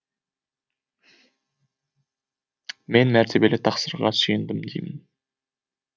мен мәртебелі тақсырға сүйендім деймін